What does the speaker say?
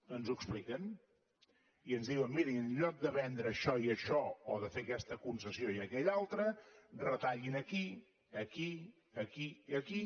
ens ho expliquen i ens diuen miri en lloc de vendre això i això o de fer aquesta concessió i aquella altra retallin aquí aquí i aquí